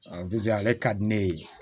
ale ka di ne ye